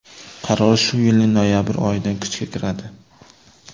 Qaror shu yilning noyabr oyidan kuchga kiradi.